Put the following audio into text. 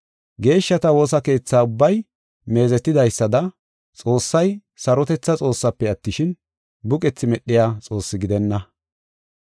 Geeshshata woosa keetha ubbay meezetidaysada Xoossay sarotetha Xoossaafe attishin, buqethi medhiya Xoossi gidenna.